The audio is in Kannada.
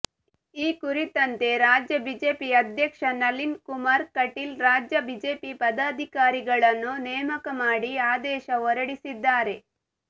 ಈ ಕುರಿತಂತೆ ರಾಜ್ಯ ಬಿಜೆಪಿ ಅಧ್ಯಕ್ಷ ನಳೀನ್ ಕುಮಾರ್ ಕಟೀಲ್ ರಾಜ್ಯ ಬಿಜೆಪಿ ಪದಾಧಿಕಾರಿಗಳನ್ನು ನೇಮಕ ಮಾಡಿ ಆದೇಶ ಹೊರಡಿಸಿದ್ದಾರೆ